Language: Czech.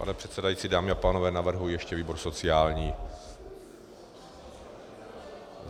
Pane předsedající, dámy a pánové, navrhuji ještě výbor sociální.